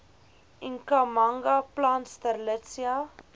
ikhamanga plant strelitzia